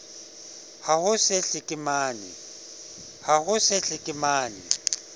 ha ho se ho hlekemane